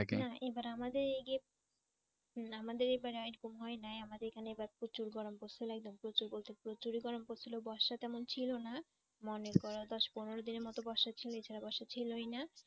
না এবারে আমাদের এ, আমাদের এবার এরকম হয় নাই আমাদের এখানে এবার প্রচুর গরম পড়ছিল একদম প্রচুর প্রচুর প্রচুর ই গরম পড়ছিল বর্ষা তেমন ছিলই না । মনে করো দশ পনেরো দিনের মতো বর্ষা ছিল এছাড়া বর্ষা ছিলই না।